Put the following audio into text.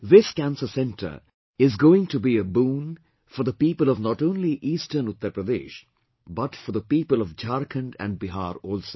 This Cancer Centre is going to be a boon for the people of not only eastern Uttar Pradesh but for the people of Jharkhand and Bihar also